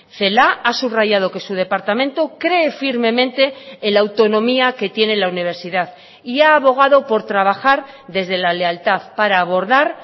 celaá ha subrayado que su departamento cree firmemente en la autonomía que tiene la universidad y ha abogado por trabajar desde la lealtad para abordar